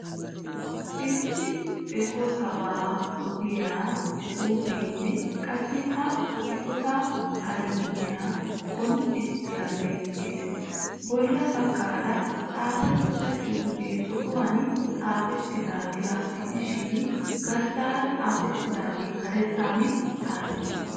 Issi eqotaabaa oddiya xuufenne qassi ha eqotaa armay qoncciyan beettees. Bolla baggaara xaafettida xuufee zo'uwan xaafettidaagaa gidishin garssara xaafettidaagee karettan xaafettiis.